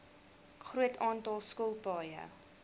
groot aantal skilpaaie